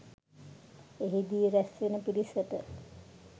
එහිදී රැස් වන පිරිසට